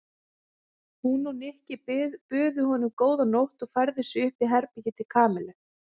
Hún og Nikki buðu honum góða nótt og færðu sig upp í herbergið til Kamillu.